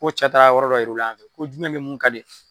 Fo cɛ taala yɔrɔ dɔ yira u la yan fɛ ,ko jumɛn lemuru ka di?